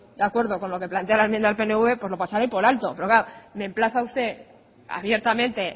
de acuerdo con lo que plantea la enmienda del pnv lo pasaré por alto pero me emplaza usted abiertamente